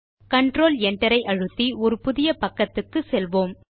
control Enter ஐ அழுத்தி ஒரு புதிய பக்கத்துக்கு செல்வோம்